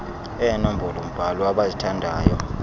eenombolo mbhalo abazithandayo